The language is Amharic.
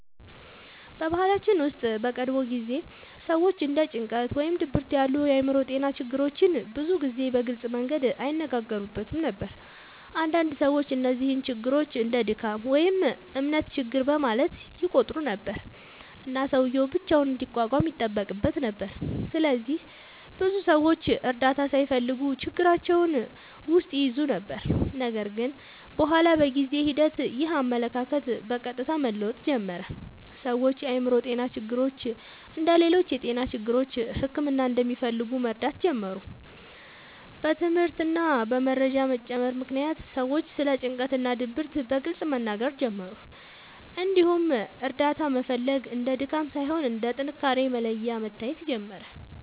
በባህላችን ውስጥ በቀድሞ ጊዜ ሰዎች እንደ ጭንቀት ወይም ድብርት ያሉ የአእምሮ ጤና ችግሮችን ብዙ ጊዜ በግልጽ መንገድ አይነጋገሩበትም ነበር። አንዳንድ ሰዎች እነዚህን ችግሮች እንደ “ድካም” ወይም “እምነት ችግር” በማለት ይቆጥሩ ነበር፣ እና ሰውዬው ብቻውን እንዲቋቋም ይጠበቅበት ነበር። ስለዚህ ብዙ ሰዎች እርዳታ ሳይፈልጉ ችግራቸውን ውስጥ ይይዙ ነበር። ነገር ግን በኋላ በጊዜ ሂደት ይህ አመለካከት በቀስታ መለወጥ ጀመረ። ሰዎች የአእምሮ ጤና ችግሮች እንደ ሌሎች የጤና ችግሮች ሕክምና እንደሚፈልጉ መረዳት ጀመሩ። በትምህርት እና በመረጃ መጨመር ምክንያት ሰዎች ስለ ጭንቀት እና ድብርት በግልጽ መናገር ጀመሩ፣ እንዲሁም እርዳታ መፈለግ እንደ ድካም ሳይሆን እንደ ጥንካሬ መለያ መታየት ጀመረ።